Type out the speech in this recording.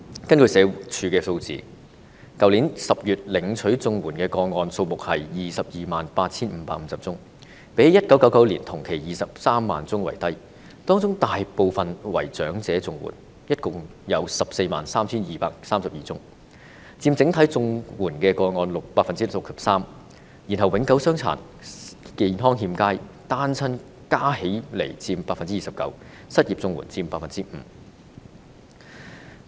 根據社會福利署的數字，在去年10月，領取綜援的個案數目是 228,550 宗，較1999年同期的23萬宗為低，當中大部分為長者綜援，合共有 143,232 宗，佔整體綜援個案 63%， 然後永久傷殘、健康欠佳及單親加起來的個案佔 29%， 失業綜援個案則佔 5%。